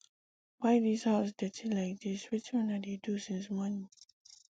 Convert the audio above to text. why dis house dirty like dis wetin una dey do since morning